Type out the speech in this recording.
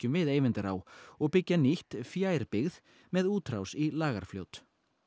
við Eyvindará og byggja nýtt fjær byggð með útrás í Lagarfljót